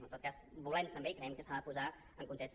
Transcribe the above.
en tot cas volem també i creiem que s’ha de posar en context